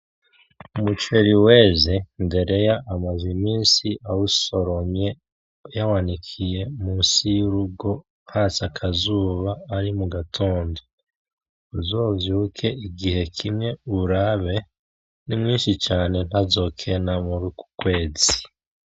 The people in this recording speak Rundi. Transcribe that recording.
Umuceri weze. Ndereya amaze iminsi awusoromye yawanikiye munsi y'urugo hatse akazuba ari mugatondo. Uzovyuke igihe kimwe uwurabe n’imwinshi cane ntazokena muruk'ukwezi.